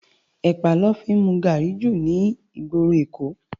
Èpá lò fi n mú gári jú ni igbóró Ékó